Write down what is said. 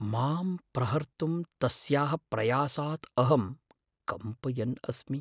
मां प्रहर्तुं तस्याः प्रयासात् अहं कम्पयन् अस्मि।